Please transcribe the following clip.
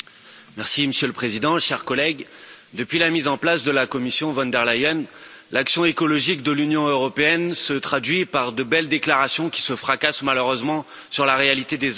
Monsieur le Président, chers collègues, depuis la mise en place de la Commission von der Leyen, l'action écologique de l'Union européenne se traduit par de belles déclarations qui se fracassent malheureusement sur la réalité des actes.